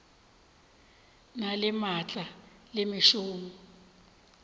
na le maatla le mešomo